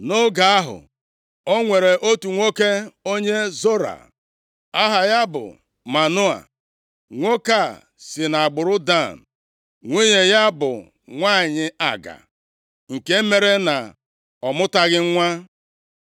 Nʼoge ahụ, o nwere otu nwoke onye Zora aha ya bụ Manoa. Nwoke a si nʼagbụrụ Dan, nwunye ya bụ nwanyị aga nke mere na ọ mụtaghị nwa.